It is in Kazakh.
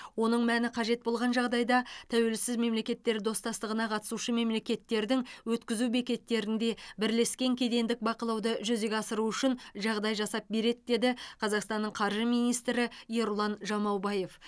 оның мәні қажет болған жағдайда тәуелсіз мемлекеттер достастығына қатысушы мемлекеттердің өткізу бекеттерінде бірлескен кедендік бақылауды жүзеге асыру үшін жағдай жасап береді деді қазақстанның қаржы министрі ерұлан жамаубаев